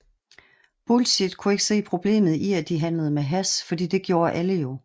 Bullshit kunne ikke se problemet i at de handlede med hash fordi det gjorde alle jo